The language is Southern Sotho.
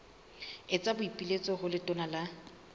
etsa boipiletso ho letona la